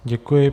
Děkuji.